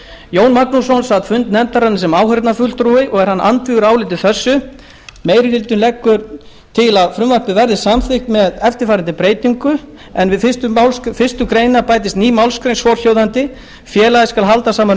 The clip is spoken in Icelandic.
jón magnússon sat fundi nefndarinnar sem áheyrnarfulltrúi og er hann andvígur áliti þessu meiri hlutinn leggur til að frumvarpið verði samþykkt með eftirfarandi breytingu við fyrstu grein bætist ný málsgrein svohljóðandi félagið skal halda saman